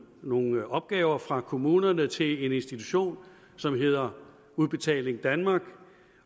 nogle opgaver fra kommunerne til en institution som hedder udbetaling danmark